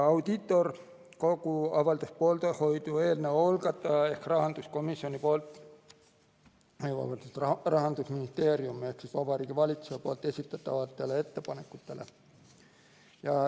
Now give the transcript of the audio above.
Audiitorkogu avaldas poolehoidu eelnõu algataja ehk Vabariigi Valitsuse esitatud ettepanekutele.